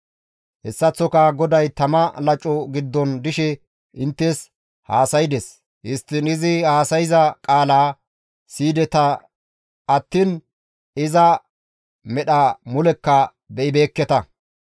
Hessaththoka GODAY tama laco giddon dishe inttes haasaydes; histtiin izi haasayza qaalaa siyideta attiin iza medha mulekka be7ibeekketa.